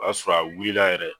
O y'a sɔrɔ a wulila yɛrɛ